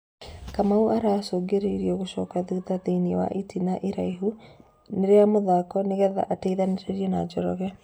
Kamau aracũngĩrĩirio gũcoka thutha thĩiniĩ wa ĩtĩna iraihu rĩa mũthako nĩgetha ateithanĩrĩrie na Njoroge.